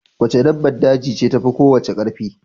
Wace dabbar daje ce tafi kowace karfi?